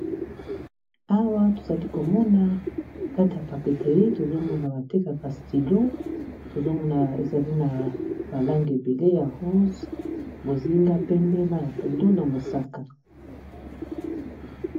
awa tozali komona kati ya papeterie tozomona batekacastillo tozomona ezali na balange ebele ya rose bozinga pembe ma ya pondo na mosaka